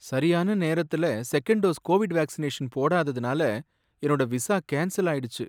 சரியான நேரத்துல second dose Covid vaccination போடாததுனால என்னோட விசா கேன்சல் ஆயிடுச்சு.